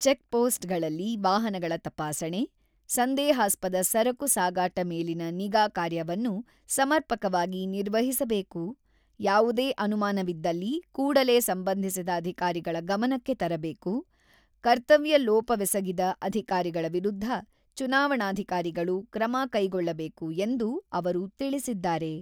ಚೆಕ್‌ಪೋಸ್‌ಟ್‌ಗಳಲ್ಲಿ ವಾಹನಗಳ ತಪಾಸಣೆ, ಸಂದೇಹಾಸ್ಪದ ಸರಕು ಸಾಗಾಟ ಮೇಲಿನ ನಿಗಾ ಕಾರ್ಯವನ್ನು ಸಮರ್ಪಕವಾಗಿ ನಿರ್ವಹಿಸಬೇಕು, ಯಾವುದೇ ಅನುಮಾನವಿದ್ದಲ್ಲಿ ಕೂಡಲೇ ಸಂಬಂಧಿಸಿದ ಅಧಿಕಾರಿಗಳ ಗಮನಕ್ಕೆ ತರಬೇಕು, ಕರ್ತವ್ಯಲೋಪವೆಸಗಿದ ಅಧಿಕಾರಿಗಳ ವಿರುದ್ಧ ಚುನಾವಣಾಧಿಕಾರಿಗಳು ಕ್ರಮ ಕೈಗೊಳ್ಳಬೇಕು ಎಂದು ಅವರು ತಿಳಿಸಿದ್ದಾರೆ.